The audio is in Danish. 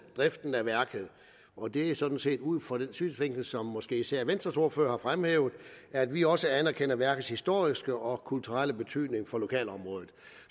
driften af værket og det er sådan set er ud fra den synsvinkel som måske især venstres ordfører har fremhævet at vi også anerkender værkets historiske og kulturelle betydning for lokalområdet